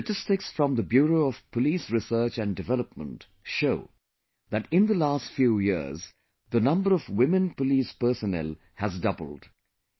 The statistics from the Bureau of Police Research and Development show that in the last few years, the number of women police personnel has doubled